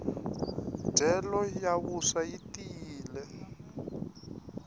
ndyelo ya vuswa yi tiyile